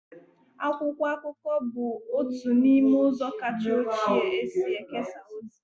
Akwụkwọ akụkọ bụ otu n'ime ụzọ kacha ochie e si ekesa ozi.